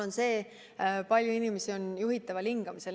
On teada, kui palju inimesi on juhitaval hingamisel.